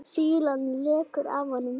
Fýlan lekur af honum.